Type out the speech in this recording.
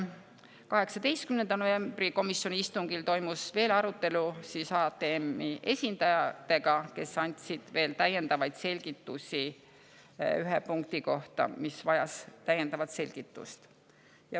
18. novembri komisjoni istungil toimus veel arutelu HTM-i esindajatega, kes andsid selgituse ühe punkti kohta, mis vajas täiendavat selgitust.